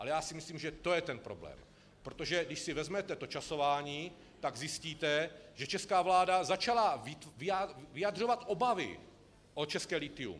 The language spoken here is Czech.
Ale já si myslím, že to je ten problém, protože když si vezmete to časování, tak zjistíte, že česká vláda začala vyjadřovat obavy o české lithium.